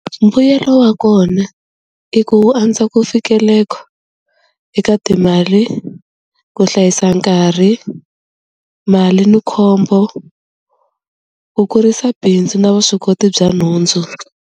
Mbuyelo wa kona i ku wu andza ku fikeleka eka timali ku hlayisa nkarhi mali ni khombo ku kurisa bindzu na vuswikoti bya nhundzu.